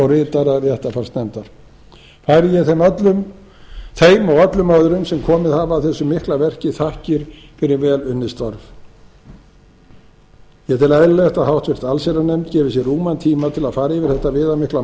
ritara réttarfarsnefndar færi ég þeim og öllum öðrum sem komið hafa að þessu mikla verki þakkir fyrir vel unnin störf ég tel eðlilegt að háttvirta allsherjarnefnd gefi sér rúman tíma til að fara yfir þetta viðamikla